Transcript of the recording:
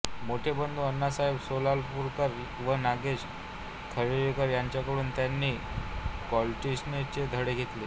मोठे बंधू अण्णासाहेब सोलापूरकर व नागेश खळीकर यांच्याकडून त्यांनी क्लॅरिनेटचे धडे घेतले